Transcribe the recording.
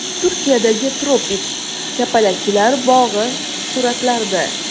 Turkiyadagi tropik kapalaklar bog‘i suratlarda.